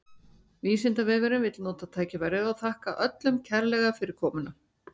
Vísindavefurinn vill nota tækifærið og þakka öllum kærlega fyrir komuna!